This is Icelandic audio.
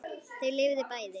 Þau lifðu bæði.